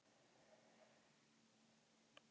Ekki tala menn um það.